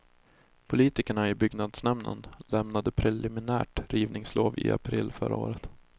Politikerna i byggnadsnämnden lämnade preliminärt rivningslov i april förra året.